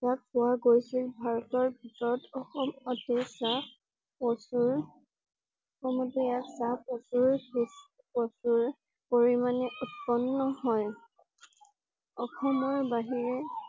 ইয়াক পোৱা গৈছিল ভাৰতৰ ভিতৰত অসমতে চাহ প্ৰচুৰ অসমতে ইয়াত চাহ প্ৰচুৰপ্ৰপ্ৰচুৰ পৰিমাণে উৎপন্ন হয়। অসমৰ বাহিৰে